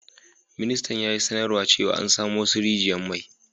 Ministar ya yi sanarwa cewa an samo wassu rigiyan mai.